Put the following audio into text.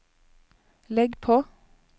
legg på